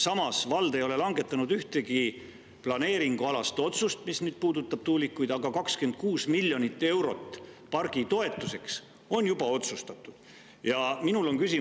Samas, vald ei ole langetanud ühtegi planeeringualast otsust, mis puudutab tuulikuid, aga juba on otsustatud pargi toetuseks anda 26 miljonit eurot.